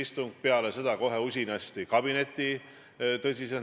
Ja see on tegelikult see probleem, miks siin saalis neid küsimusi küsitakse.